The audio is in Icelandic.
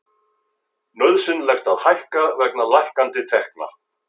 Nauðsynlegt að hækka vegna lækkandi tekna